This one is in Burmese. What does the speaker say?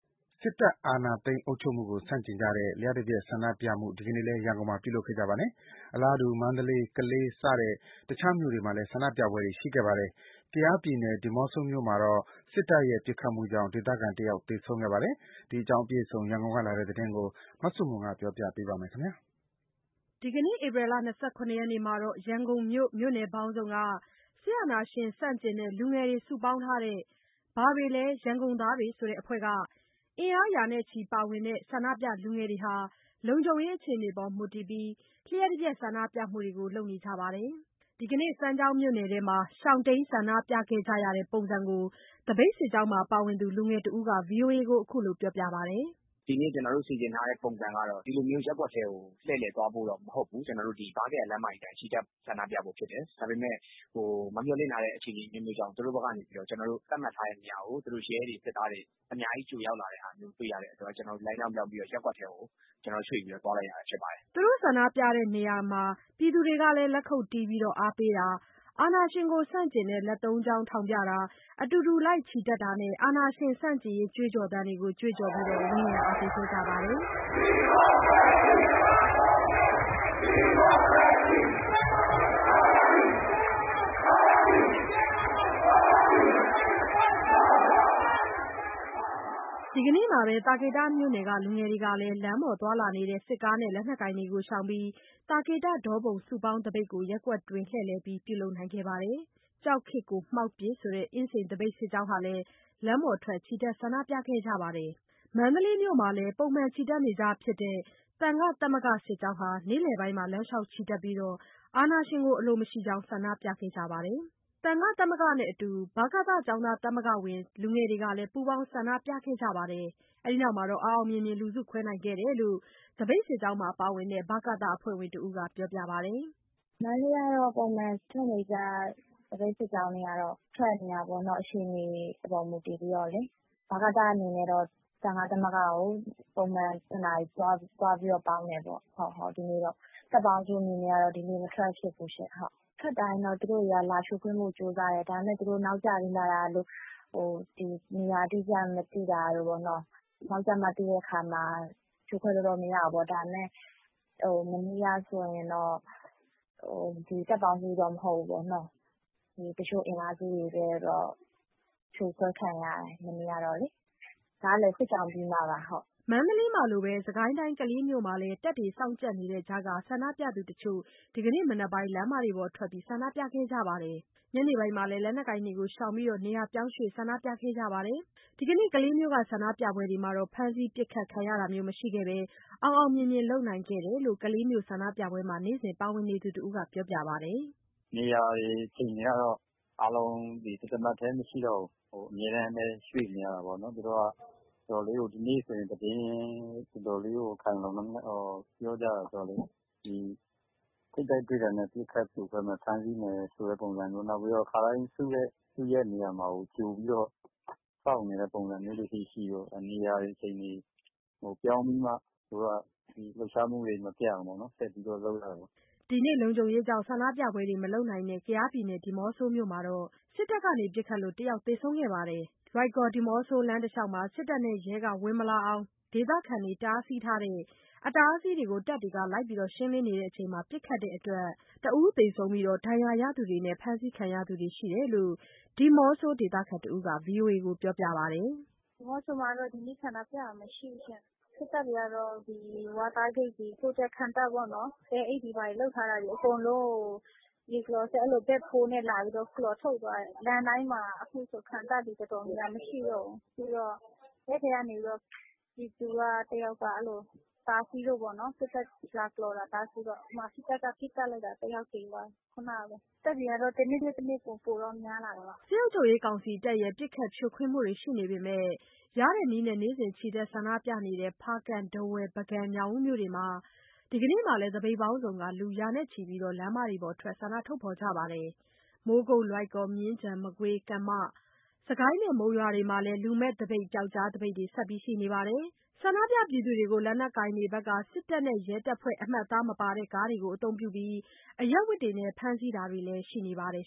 စစ်တပ်အာဏာသိမ်း အုပ်ချုပ်မှုကို ဆန့်ကျင်ကြတဲ့ လ ျှပ်တပြက် ဆန္ဒပြမှုတွေ ဒီနေ့လည်း ရန်ကုန်မှာ ပြုလုပ်ခဲ့ကြပါတယ်။ အလားတူ မန္တလေး၊ ကလေးစတဲ့ တခြားမြို့တွေမှာလည်း ဆန္ဒပြပွဲတွေ ရှိခဲ့ပါတယ်။ ကယားပြည်နယ် ဒီးမော့ဆိုမြို့မှာတော့ စစ်တပ်ရဲ့ပစ်ခတ်မှုကြောင့် ဒေသခံ ၁ ယောက် သေဆုံးခဲ့ပါတယ်။ ဒီအကြောင်း အပြည့်အစုံ ရန်ကုန်က လာတဲ့သတင်းကို မဆုမွန် ဆက်ပြီး ပြောပြပါမယ်။ ရန်ကုန်မြို့ မြို့နယ်ပေါင်းစုံက စစ်အာဏာရှင်ဆန့်ကျင်တဲ့ လူငယ်တွေ စုပေါင်းထားတဲ့ “ဘာတွေလဲ ရန်ကုန်သားတွေ” အဖွဲ့က အင်အား ရာနဲ့ချီပါဝင်တဲ့ ဆန္ဒပြလူငယ်တွေဟာ လုံခြုံရေး အခြေအနေပေါ်မူတည်ပြီး လ ျှပ်တပြက်ဆန္ဒပြမှုတွေကို လုပ်နေကြပါတယ်။ ဒီနေ့ စမ်းချောင်းမြို့နယ်ထဲမှာ ရှောင်တိမ်း ဆန္ဒပြခဲ့ကြရတဲ့ ပုံစံကို သပိတ်စစ်ကြောင်းမှာ ပါဝင်တဲ့ လူငယ်တဦးက ဗွီအိုအေကို ခုလိုပြောပြပါတယ်။ “ဒီနေ့ ကျနော်တို့ စီစဉ်ထားတဲ့ ပုံစံကတော့ ဒီလိုမျိုး ရပ်ကွက်ထဲကို လှည့်လည်သွားဖို့တော့ မဟုတ်ဘူး။ ဗားကရာ လမ်းမကြီးအတိုင်း ချီတက်ဆန္ဒပြဖို့ ဖြစ်တယ်။ ဒါပေမဲ့ မမျှော်လင့်ထားတဲ့ အခြေအနေအမျိုးမျိုးကြောင့် သူတို့ဘက်ကနေပြီးတော့ ကျနော်တို့ သတ်မှတ်ထားတဲ့နေရာကို သူတို့ ရဲတွေ၊ စစ်သားတွေ အများကြီး ကြိုရောက်လာတဲ့ဟာမျိုး တွေ့ရတဲ့အတွက် ကျနော်တို့လမ်းကြောင်းပြောင်းပြီး ရပ်ကွက်ထဲကို ကျနော်တို့ရွှေ့ပြီး သွားလိုက်ရတာ ဖြစ်ပါတယ်။” သူတို့ဆန္ဒပြရာနေရာတွေမှာ ပြည်သူတွေကလည်း လက်ခုပ်တီးအားပေးတာ၊ အာဏာရှင်ဆန့်ကျင်တဲ့ လက်သုံးချောင်းထောင်ပြတာ၊ အတူတူလိုက် ချီတက်တာနဲ့ အာဏာရှင်ဆန့်ကျင်ရေး ကြွေးကြော်သံတွေကို ကြွေးကြော်ပြီး ဝန်းရံအားပေးခဲ့ကြပါတယ်။ ဒီနေ့မှာပဲ သာကေတမြို့နယ်က လူငယ်တွေကလည်း လမ်းပေါ်သွားလာနေတဲ့ စစ်ကားနဲ့ လက်နက်ကိုင်တွေကို ရှောင်ပြီးသာကေတ၊ ဒေါပုံ စုပေါင်းသပိတ်ကို ရပ်ကွက်တွင်း လှည့်လည်ပြီး ပြုလုပ်နိုင်ခဲ့ပါတယ်။ “ကြောက်ခေတ်ကို မှောက်ပစ်” ဆိုတဲ့ အင်းစိန်သပိတ်စစ်ကြောင်းဟာလည်း လမ်းပေါ်ထွက်ချီတက် ဆန္ဒပြခဲ့ကြပါတယ်။ မန္တလေးမြို့မှာလည်း ပုံမှန်ချီတက်နေကြဖြစ်တဲ့ သံဃသမဂ္ဂစစ်ကြောင်းဟာ နေ့လယ်ပိုင်းမှာ လမ်းလျှောက်ချီတက်ပြီး အာဏာရှင်အလိုမရှိကြောင်း ဆန္ဒပြခဲ့ကြပါတယ်။ သံဃသမဂ္ဂနဲ့အတူ ဗကသကျောင်းသားသမဂ္ဂဝင် လူငယ်တွေကလည်း ပူးပေါင်းဆန္ဒပြခဲ့ပြီး အောင်အောင်မြင်မြင် လူစုခွဲနိုင်ခဲ့တယ်လို့ သပိတ်စစ်ကြောင်းမှာ ပါဝင်တဲ့ ဗကသအဖွဲ့ဝင်တဦးက ပြောပါတယ်။ “မန္တလေးက ပုံမှန်ထွက်နေကြ သပိတ်စစ်ကြောင်းတွေကတော့ အခြေအနေပေါ် မူတည်ပြီးတော့ ထွက်နေတာပဲ။ ဒီနေ့ကတော့ ဗကသအနေနဲ့ သံဃသမဂ္ဂကို ပုံမှန်အတိုင်း သွားပူးပေါင်းတယ်။ တပ်ပေါင်းစုအနေနဲ့ကတော့ ဒီနေ့မထွက်ဖြစ်ဘူးရှင့်။ ဆန္ဒပြသပိတ်တွေ ထွက်တိုင်း သူတို့က လာဖြိုခွင်းဖို့ကြိုးစားတယ်။ ဒါပေမဲ့ သူတို့ နောက်ကျပြီးလာတာတို့၊ နေရာအတိအကျ မသိတာတို့၊ နောက်ကျမှသိတော့ ဖြိုခွဲလို့ မရတော့ဘူးပေါ့။ ဒါပေမဲ့ မနေ့ကဆိုရင်တော့ တပ်ပေါင်းစုတော့ မဟုတ်ဘူး၊ တချို့အင်အားစုတွေတော့ စစ်ကြောင်းပြီးမှ ဖြိုခွဲခံရတာရှိတယ်။” မန္တလေးမှာလိုပဲ စစ်ကိုင်းတိုင်း ကလေးမြို့မှာလည်း တပ်တွေ စောင့်ကြပ်နေတဲ့ကြားက ဆန္ဒပြသူတချို့ ဒီနေ့မနက် လမ်းပေါ်ထွက် ဆန္ဒပြခဲ့ကြပါတယ်။ ညနေပိုင်းမှာလည်း လက်နက်ကိုင်တွေကို ရှောင်ပြီး နေရာပြောင်းရွှေ့ ဆန္ဒပြခဲ့ကြပါတယ်။ ဒီကနေ့ ကလေးမြို့က ဆန္ဒပြပွဲတွေကတော့ ဖမ်းဆီး၊ ပစ်ခတ် ခံရတာမျိုး မရှိခဲ့ဘဲ အောင်အောင်မြင်မြင် လုပ်နိုင်ခဲ့တယ်လို့ ကလေးမြို့ ဆန္ဒပြပွဲတွေမှာ နေ့စဉ်ပါဝင်နေသူ တဦးက ပြောပါတယ်။ “နေရာတွေ အချိန်တွေကတော့ အားလုံး တသမတ်တည်း မရှိတော့ဘူး။ အမြဲတမ်း ရွှေ့နေရတာပေါ့နော်။ သူတို့က ဒီနေ့ဆိုရင် တော်တော်လေးကို သတင်း ခိုင်ခိုင်လုံလုံနဲ့ပေါ့၊ ပြောကြတာတော့ သူတို့နဲ့ ထိပ်တိုက်တွေ့တာနဲ့ ပစ်ခတ်ဖြိုခွဲမယ်၊ ဖမ်းဆီးမယ်ဆိုတာမျိုးပေါ့။ နောက်ပြီးတော့ ကျနော်တို့ ခါတိုင်းစုတဲ့ စုရပ်နေရာမှာကို ကြိုပြီးတော့ စောင့်နေတဲ့ အနေအထားမျိုးတွေလည်းရှိတယ်။ နေရာတွေ အချိန်တွေ ပြောင်းပြီးမှာ ဒီလှုပ်ရှားမှုတွေကို မပြတ်အောင် လုပ်နေကြတာပေါ့။” ဒီနေ့ လုံခြုံရေးကြောင့် ဆန္ဒပြပွဲတွေ မလုပ်နိုင်တဲ့ ကယားပြည်နယ် ဒီးမော့ဆိုမြို့မှာတော့ စစ်တပ်က ပစ်ခတ်လို့ ၁ ယောက်သေဆုံးခဲ့ပါတယ်။ မြို့ထဲက လွိုင်ကော်-ဒီးမော့ဆိုလမ်း တလျှောက်မှာ စစ်တပ်နဲ့ ရဲတွေ ဝင်မလာနိုင်အောင် ဒေသခံတွေ တားဆီးထားတဲ့ အတားအဆီးတွေကို တပ်တွေက လိုက်လံရှင်းလင်းနေစဉ် ပစ်ခတ်တဲ့အတွက် တဦးသေဆုံးခဲ့ပြီး ဒဏ်ရာရသူတွေနဲ့ ဖမ်းဆီးခံသူတွေ ရှိတယ်လို့ ဒီးမော့ဆို ဒေသခံတဦးက ဗွီအိုအေကို ပြောပါတယ်။ “ဒီးမော့ဆိုမှာတော့ ဒီနေ့ ဆန္ဒပြတာမရှိဘူး။ စစ်တပ်ကတော့ ဂိတ်တွေ၊ ခံတပ်ပေါ့နော်၊ သဲအိတ်တွေ၊ ဘာတွေ လုပ်ထားတာတွေ အကုန်လုံးကို မြေကလော်စက် ဘက်ဖိုးနဲ့ လာပြီးတော့ ကော်ထုတ်သွားတယ်။ လမ်းတိုင်းမှာ ခုခံတပ်တွေ တော်တော်များများ မရှိတော့ဘူး။ ပြီးတော့ ရွာကတယောက် အဲဒီလို တားဆီးလို့ စစ်တပ်က လာလုပ်တာကို တားဆီးလို့ စစ်တပ်က ပစ်သတ်လိုက်တာ တစ်ယောက် သေသွားတယ်၊ ခုဏကပဲ။ တပ်တွေကတော့ တနေ့ထက် တနေ့ ပိုပိုတော့ များလာတာပေါ့။” စစ်ကောင်စီတပ်တွေရဲ့ ပစ်ခတ်ဖြိုခွင်းမှုတွေ ရှိနေပေမဲ့ ရတဲ့နည်းနဲ့ နေ့စဉ်ချီတက်ဆန္ဒပြနေတဲ့ ဖားကန့်၊ ထားဝယ်၊ ပုဂံ၊ ညောင်ဦးမြို့တွေမှာ ဒီကနေ့လည်း သပိတ်ပေါင်းစုံက လူရာနဲ့ချီ ဆန္ဒထုတ်ဖော်ကြပါတယ်။ မိုးကုတ်၊ လွိုင်ကော်၊ မြင်းခြံ၊ မကွေး၊ ကမ္မ၊ စစ်ကိုင်း နဲ့ မုံရွာတို့မှာလည်း လူမဲ့သပိတ်၊ ပျောက်ကြားသပိတ်တွေ ဆက်ရှိနေပါတယ်။ ဆန္ဒပြပြည်သူတွေကို လက်နက်ကိုင်တွေက စစ်တပ်နဲ့ ရဲတပ်ဖွဲ့ အမှတ်အသားမပါတဲ့ ကားတွေကိုအသုံးပြုပြီး အရပ်ဝတ်တွေနဲ့ ဖမ်းဆီးတာတွေလည်း ရှိနေပါတယ်